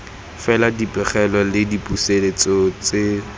fela dipegelo le dipusetso tse